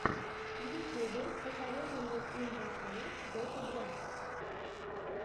в ютубе посоветуй мне имба шоу дота два